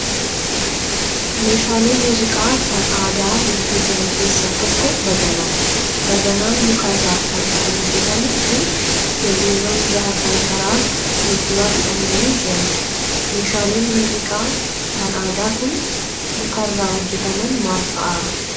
Meeshaalee muuziqaa kan aadaa hedduu jiran keessaa tokko baganaadha. Baganaan mukarraa kan kan hojjatamuu fi kirriiwwan jaha kan karaa fuulduraa hidhamanii jiranidha. Meeshaaleen muuziqaa kan aadaa kan mukarraa hojjataman maal fa'aa?